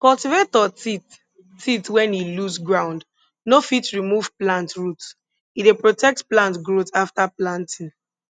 cultivator teeth teeth when e loose ground no fit remove plant root e dey protect plant growth after planting